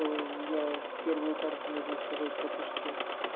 ээ я первую карту можно сказать пропустил